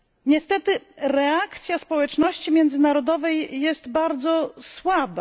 Niestety reakcja społeczności międzynarodowej jest bardzo słaba.